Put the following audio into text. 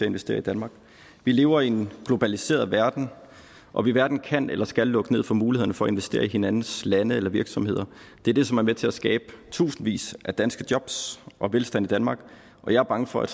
investere i danmark vi lever i en globaliseret verden og vi hverken kan eller skal lukke ned for mulighederne for at investere i hinandens lande eller virksomheder det er det som er med til at skabe tusindvis af danske job og velstand i danmark og jeg er bange for at